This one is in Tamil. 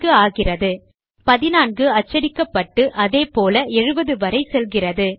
14 ஆகிறது 14 அச்சடிக்கப்பட்டு அதேபோல 70 வரை செல்கிறது